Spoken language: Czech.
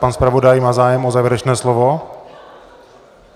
Pan zpravodaj má zájem o závěrečné slovo?